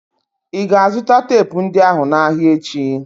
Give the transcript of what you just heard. Ị ga-azụta teepu ndị ahụ n'ahịa echi?